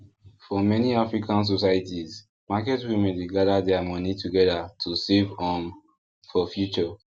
for many african societies market women dey gather their money together to save um for future